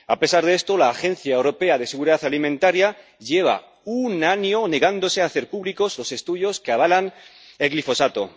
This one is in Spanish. A pesar de esto, la Autoridad Europea de Seguridad Alimentaria lleva un año negándose a hacer públicos los estudios que avalan el glifosato.